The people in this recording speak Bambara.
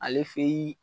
Ale fe yi